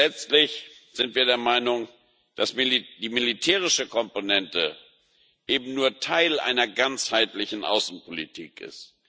Und letztlich sind wir der Meinung, dass die militärische Komponente eben nur Teil einer ganzheitlichen Außenpolitik ist.